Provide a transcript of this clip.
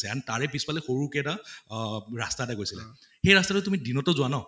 and তাৰে পিছ্ফালে সৰুকে এটা অহ ৰাস্তা এটা গৈছিলে, সেই ৰাস্তাটো তুমি দিনতো যোৱা ন